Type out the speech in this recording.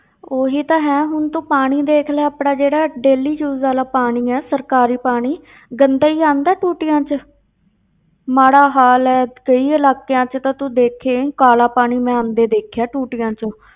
ਉਹੀ ਤਾਂ ਹੈ ਹੁਣ ਤੂੰ ਪਾਣੀ ਦੇਖ ਲੈ ਆਪਣਾ ਜਿਹੜਾ daily use ਵਾਲਾ ਪਾਣੀ ਆ ਸਰਕਾਰੀ ਪਾਣੀ ਗੰਦਾ ਹੀ ਆਉਂਦਾ ਹੈ ਟੂਟੀਆਂ ਵਿੱਚ ਮਾੜਾ ਹਾਲ ਹੈ, ਕਈ ਇਲਾਕਿਆਂ ਵਿੱਚ ਤਾਂ ਤੂੰ ਦੇਖੇਂ ਕਾਲਾ ਪਾਣੀ ਮੈਂ ਆਉਂਦੇ ਦੇਖਿਆ ਟੂਟੀਆਂ ਵਿੱਚ